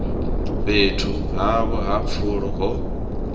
fhethu havho ha pfulo ho